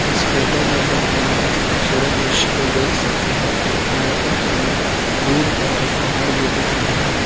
इस फोटो में हम एक बहोत ही खूबसूरत दृश्य को देख सकते हैं यहां पर हमें दूर पर एक पहाड़ भी दिख रहा है।